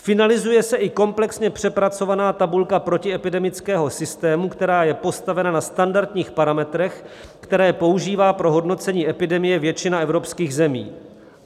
Finalizuje se i komplexně přepracovaná tabulka protiepidemického systému, která je postavena na standardních parametrech, které používá pro hodnocení epidemie většina evropských zemí.